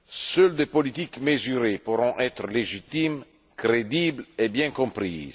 Seules des politiques mesurées pourront être légitimes, crédibles et bien comprises.